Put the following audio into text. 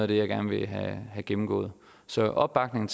det jeg gerne vil have gennemgået så opbakning